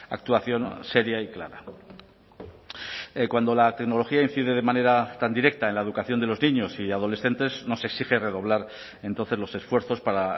actuación seria y clara cuando la tecnología incide de manera tan directa en la educación de los niños y adolescentes nos exige redoblar entonces los esfuerzos para